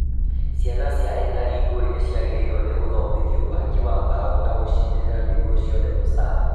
Ciana cia ethari ngũĩ nĩciagĩrĩirwo nĩ gũthomithio waki wa mbaũ na gũcinĩrĩra nĩguo cione mũcara